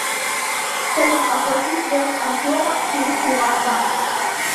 салют оплати связь артема через приват банк